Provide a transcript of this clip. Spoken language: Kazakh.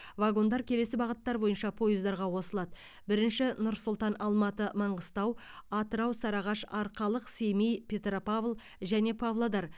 вагондар келесі бағыттар бойынша пойыздарға қосылады бірінші нұр сұлтан алматы маңғыстау атырау сарыағаш арқалық семей петропавл және павлодар